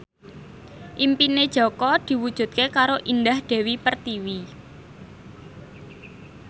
impine Jaka diwujudke karo Indah Dewi Pertiwi